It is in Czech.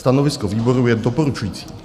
Stanovisko výboru je doporučující.